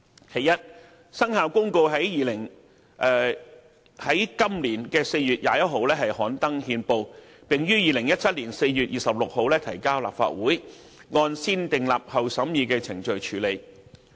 其一，《生效日期公告》於今年4月21日刊登憲報，並於2017年4月26日提交立法會，按"先訂立後審議"程序處理。